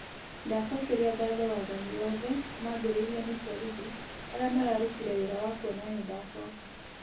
ndacokerĩa ngatho wathanĩ wothe, mambĩrĩrĩo nĩ borĩthĩ, arĩa mararũtĩre wĩra wa kũona nĩndacoka